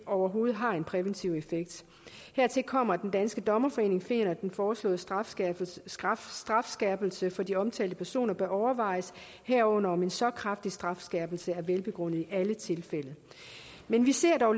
overhovedet har en præventiv effekt hertil kommer at den danske dommerforening finder at den foreslåede strafskærpelse strafskærpelse for de omtalte personer bør overvejes herunder om en så kraftig strafskærpelse er velbegrundet i alle tilfælde men vi ser dog